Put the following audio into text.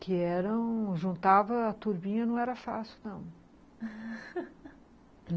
Que eram... juntava a turminha, não era fácil, não